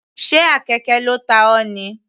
Sé àkekè ló ta ọ.